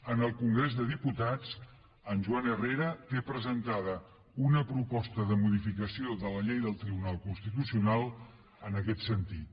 en el congrés dels diputats en joan herrera té presentada una proposta de modificació de la llei del tribunal constitucional en aquest sentit